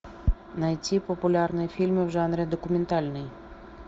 найти популярные фильмы в жанре документальный